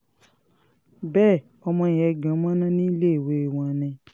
bẹ́ẹ̀ ọmọ yẹn gan mọ̀nà níléèwé wọn ni